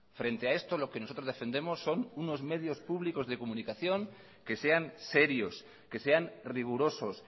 frente a esto lo que nosotros defendemos son unos medios públicos de comunicación que sean serios que sean rigurosos